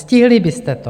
Stihli byste to.